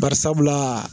Bari sabula